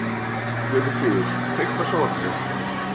Guðfríður, kveiktu á sjónvarpinu.